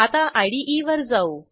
आता इदे वर जाऊ